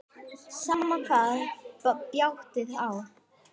Sama hvað bjátaði á.